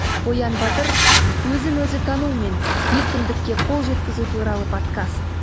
оян батыр өзін өзі тану мен еркіндікке қол жеткізу туралы подкаст